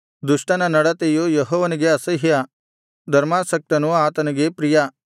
ದುಷ್ಟನ ನಡತೆಯು ಯೆಹೋವನಿಗೆ ಅಸಹ್ಯ ಧರ್ಮಾಸಕ್ತನು ಆತನಿಗೆ ಪ್ರಿಯ